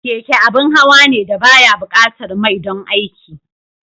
Keke abin hawa ne da ba ya buƙatar mai don aiki.